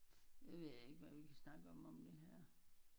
Det ved jeg ikke hvad vi kan snakke om om det her